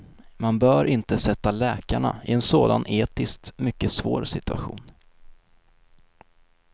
Man bör inte sätta läkarna i en sådan etiskt mycket svår situation.